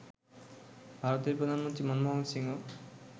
ভারতের প্রধানমন্ত্রী মনমোহন সিংও